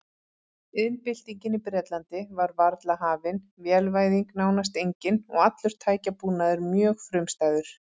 Iðnbyltingin í Bretlandi var varla hafin, vélvæðing nánast engin og allur tækjabúnaður mjög frumstæður.